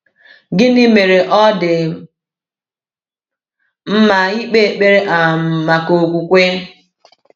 Gịnị mere ọ dị mma ịkpe ekpere um maka okwukwe?